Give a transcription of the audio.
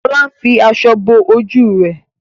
Lola ń fí aṣọ bó ojú rẹ.